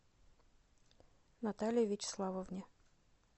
наталье вячеславовне